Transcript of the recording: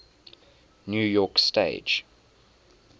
new york stage